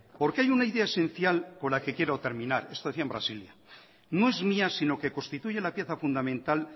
porque hay una idea esencial con la que quiero terminar esto decía en brasilia no es mía sino que constituye la pieza fundamental